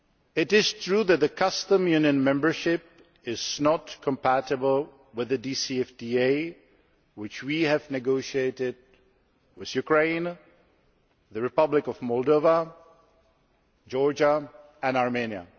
It is true that Customs Union membership is not compatible with the DCFTA which we have negotiated with Ukraine, the Republic of Moldova, George and Armenia.